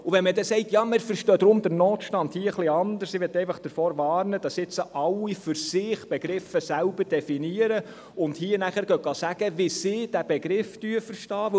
Wenn man nun sagt, man würde den Begriff «Notstand» hier etwas anders verstehen, möchte ich davor warnen, dass alle für sich die Begriffe selber definieren und hier erklären, wie sie diesen Begriff verstehen.